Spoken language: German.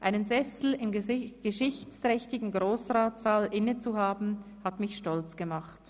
Einen Sessel im geschichtsträchtigen Grossratssaal innezuhaben hat mich stolz gemacht.